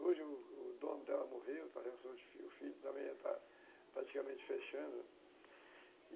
Hoje o o dono dela morreu, o filho já está praticamente fechando.